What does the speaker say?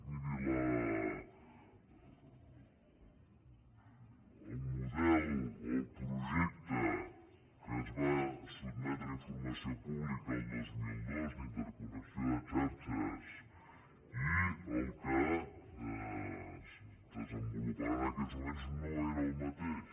miri el model o el projecte que es va sotmetre a informació pública el dos mil dos d’interconnexió de xarxes i el que es desenvoluparà en aquests moments no són el mateix